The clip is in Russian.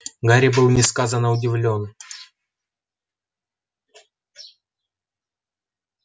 гарри был несказанно удивлён